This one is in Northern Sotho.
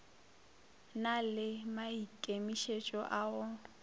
na le maikemišetšo a go